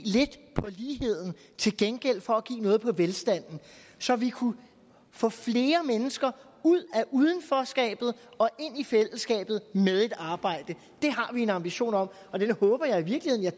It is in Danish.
lidt på ligheden til gengæld for at give noget på velstanden så vi kunne få flere mennesker ud af udenforskabet og ind i fællesskabet med et arbejde det har vi en ambition om og den håber jeg i virkeligheden at